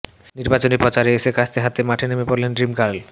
নির্বাচনী প্রচারে এসে কাস্তে হাতে মাঠে নেমে পড়লেন ড্রিমগার্ল